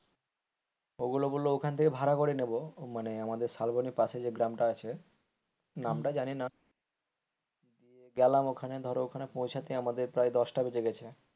ওগুলো বলল ওখান থেকে ভাড়া করে নেব মানে আমাদের শালবনির পাশে যে গ্রামটা আছে নামটা জানি না গেলাম ওখানে ধরো ওখানে পৌঁছাতে প্রায় দশটা লেগেছে,